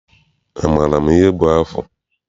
Amaara m ihe bụ afụ?